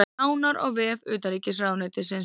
Nánar á vef utanríkisráðuneytisins